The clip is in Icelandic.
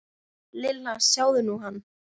Lilla, sjáðu nú hann.